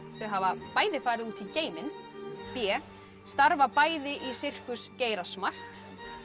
þau hafa bæði farið út í geiminn b starfa bæði í sirkus geira smart